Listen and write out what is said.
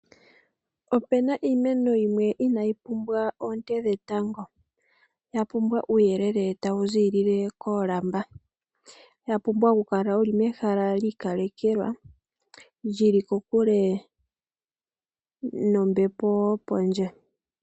Ope na iimeno yimwe inayi pumbwa oonte dhetango ya pumbwa uuyelele tawu ziilile koolamva, ya pumbwa okukala wo wuli mehala li ikalekelwa lyi li kokule nombepo yopondje.